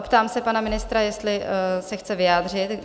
Optám se pana ministra, jestli se chce vyjádřit?